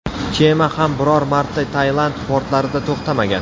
Kema ham biror marta Tailand portlarida to‘xtamagan.